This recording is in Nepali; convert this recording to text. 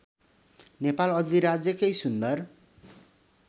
नेपाल अधिराज्यकै सुन्दर